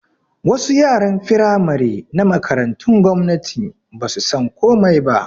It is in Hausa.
Wasu yaran Firamare na Makarantu gwamnatin basu san komai ba